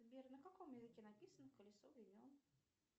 сбер на каком языке написан колесо времен